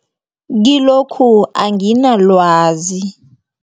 Kilokhu anginalwazi.